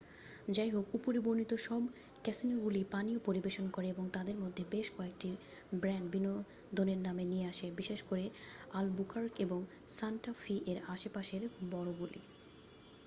যাইহোক উপরে বর্ণিত সব ক্যাসিনোগুলিই পানীয় পরিবেশন করে এবং তাদের মধ্যে বেশ কয়েকটি ব্র্যান্ড বিনোদনের নামে নিয়ে আসে বিশেষ করে অলবুকার্ক এবং সান্টা ফি এর আশেপাশের বড়গুলি।